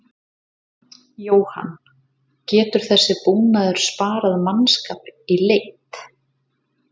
Jóhann: Getur þessi búnaður sparað mannskap í leit?